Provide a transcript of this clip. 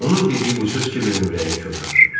Onun dediyi bu söz Kibirin ürəyini kövrəltdi.